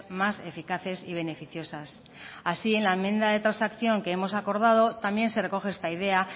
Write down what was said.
más eficaces y beneficiosas así en la enmienda de transacción que hemos acordado también se recoge esta idea